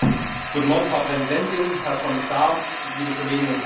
Frau Präsidentin, Herr Kommissar, liebe Kolleginnen und Kollegen!